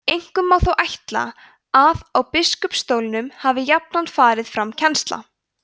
einkum má þó ætla að á biskupsstólunum hafi jafnan farið fram kennsla